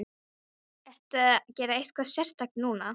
Ertu að gera eitthvað sérstakt núna?